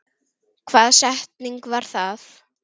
Hvaða setning var það?